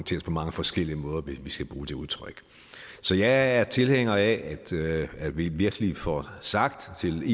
mange forskellige måder hvis vi skal bruge det udtryk så jeg er tilhænger af at vi virkelig får sagt til